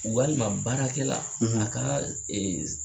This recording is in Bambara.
Walima baarakɛla a ka